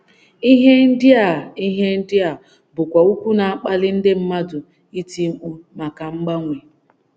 Ihe ndị a Ihe ndị a bụkwa okwu na - akpali ndị mmadụ iti mkpu maka mgbanwe.